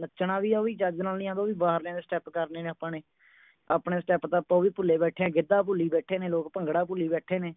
ਨੱਚਣਾ ਵੀ ਉਹ ਵੀ ਚੱਜ ਨਾਲ ਨਹੀਂ ਆਉਂਦਾ ਉਹ ਵੀ ਬਾਹਰ ਲਿਆਂਦੇ step ਕਰਨੇ ਨੇ ਆਪਾਂ ਨੇ ਆਪਣੇ step ਤੇ ਆਪਾਂ ਉਹ ਵੀ ਭੁੱਲੇ ਬੈਠੇ ਹਾਂ ਗਿੱਧਾ ਭੁੱਲੀ ਬੈਠੇ ਨੇ ਲੋਕ ਭੰਗੜਾ ਭੁੱਲੀ ਬੈਠੇ ਨੇ